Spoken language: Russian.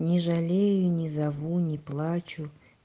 не жалею не зову не плачу